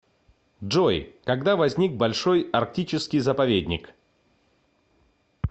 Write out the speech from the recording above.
джой когда возник большой арктический заповедник